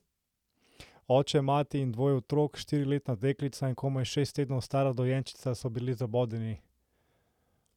Oče, mati in dvoje otrok, štiriletna deklica in komaj šest tednov stara dojenčica, so bili zabodeni!